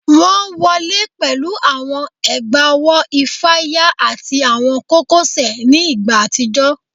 Wọn wọle pẹlu awọn egbaowo ifaya ati awọn kokosẹ ni igba atijọ